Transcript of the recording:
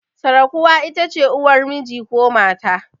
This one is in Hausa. Sirkuwa itace uwar miji ko mata